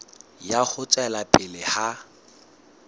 ya ho tswela pele ha